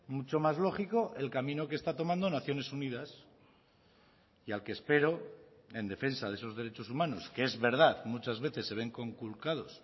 mucho más lógico el camino que está tomando naciones unidas y al que espero en defensa de esos derechos humanos que es verdad muchas veces se ven conculcados